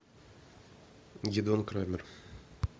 гидеон крамер